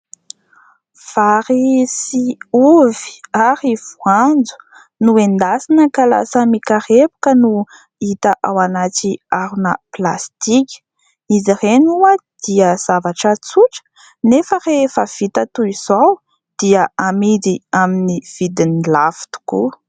Vary sy ovy ary voanjo no endasina ka lasa mikarepoka no hita ao anaty harona plastika. Izy ireny dia zavatra tsotra nefa rehefa vita toy izao dia amidy amin'ny vidiny lafo tokoa.